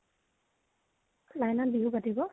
line ত বিহু পাতিব?